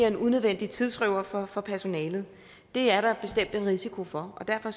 en unødvendig tidsrøver for for personalet det er der bestemt en risiko for og derfor